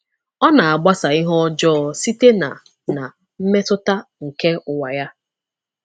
Ọ na-agbasa ihe ọjọọ site ná ná mmetụta nke ụwa ya.